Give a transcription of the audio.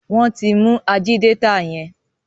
wón tí mú Ajídétà yén.